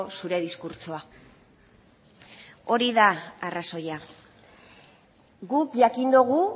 zure diskurtsoa hori da arrazoia guk jakin dugu